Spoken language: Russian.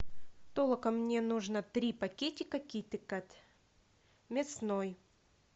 толока мне нужно три пакетика китекет мясной